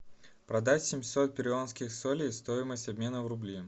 продать семьсот перуанских солей стоимость обмена в рубли